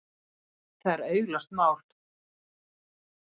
Það er augljóst mál.